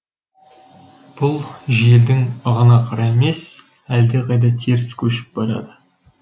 бұл желдің ығына қарай емес әлдеқайда теріс көшіп барады